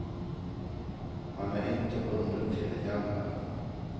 Man är inte bunden till det gamla.